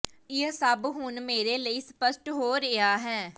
ਇਹ ਸਭ ਹੁਣ ਮੇਰੇ ਲਈ ਸਪੱਸ਼ਟ ਹੋ ਰਿਹਾ ਹੈ